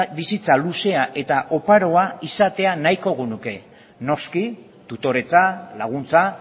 bizitza luzea eta oparoa izatea nahiko genuke noski tutoretza laguntza